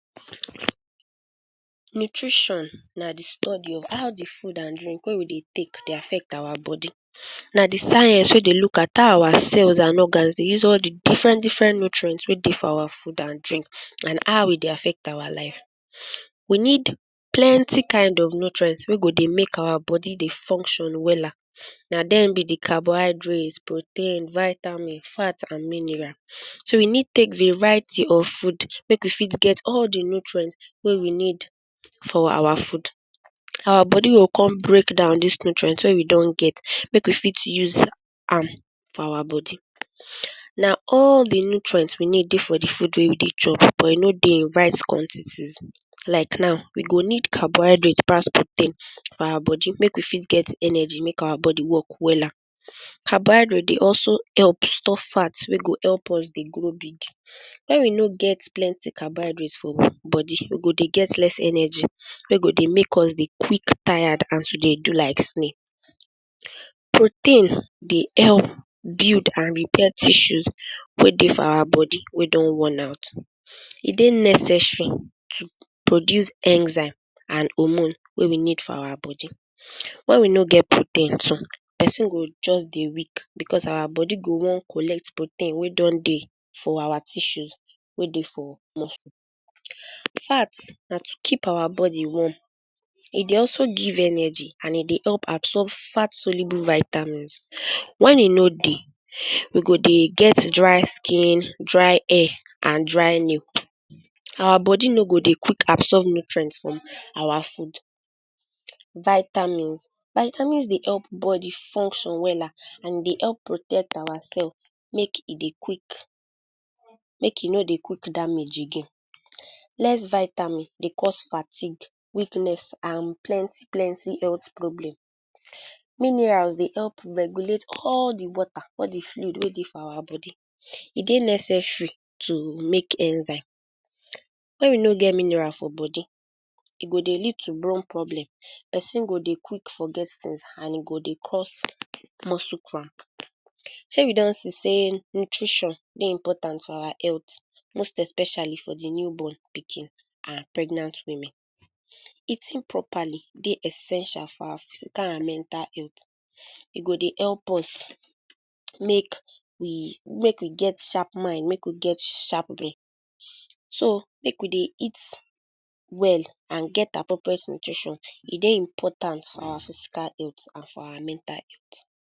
Nutrition na de study of how de food and drink wey we dey take dey affect our body. Na de science wey dey look at how our cells and organs dey use all de different different nutrient wey dey our food and drink, and how e dey affect our life. We need plenty kind of nutrient wey go dey make our body dey function wella. Na dem be de carbohydrate, protein, vitamin, fat and mineral. So we need take variety of food, make we fit get all de nutrient wey we need for our food. Our body go come break down dis nutrient wey we don get, make we fit use am for our body. Na all de nutrient we need dey for de food wey we dey chop, but e no dey in right quantities. Like now, we go need carbohydate pass protein for our boby, make we fit get energy, make our body work wella. Carbohydrate dey also help store fats wey go help us dey grow big. When we no get plenty carbohydrates for body, we go dey get less energy wey go dey make us dey quick tired and to dey do like snail. Protein dey help build and repair tissues wey dey for our body, wey don worn-out. E dey necessary to produce enzyme and hormone wey we need for our body. When we no get protein too, pesin go just dey weak because our body go wan collect protein wey don dey for our tissues wey dey for muscle. Fats na to keep our body warm. E dey also give energy, and e dey help absorb fat soluble vitamins. When e no dey, we go dey get dry skin, dry hair, and dry nail; our body no go dey quick absorb nutrient from our food. Vitamins. Vitamins dey help body function wella, and e dey help protect our cell, make e dey quick, make e no dey quick damage again. Less vitamin dey cause fatigue, weakness, and plenty plenty health problem. Minerals dey help regulate all de water, all de fluid wey dey for our body. E dey necessary to make enzyme. When we no get mineral for body, e go dey lead to bone problem, pesin go dey quick forget things, and e go dey cause muscle cramp. Shey we don see sey nutrition dey important for our health, most especially for de new born pikin and pregnant women. Eating properly dey essential for our physical and mental health. E go dey help us make we, make we get sharp mind, make we get sharp brain. So make we dey eat well and get appropriate nutrition. E dey important for our physical health and for our mental health.